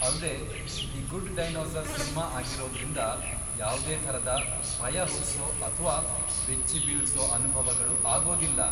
ಅಲ್ದೇ the good dinosaur cinema ಆಗಿರೋದ್ರಿಂದ, ಯಾವ್ದೇ ಥರದ ಭಯ ಹುಟ್ಸೋ ಅಥ್ವಾ ಬೆಚ್ಚಿಬೀಳ್ಸೋ ಅನುಭವಗಳು ಆಗೋದಿಲ್ಲ.